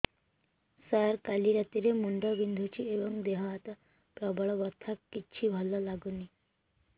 ସାର କାଲି ରାତିଠୁ ମୁଣ୍ଡ ବିନ୍ଧୁଛି ଏବଂ ଦେହ ହାତ ପ୍ରବଳ ବଥା କିଛି ଭଲ ଲାଗୁନି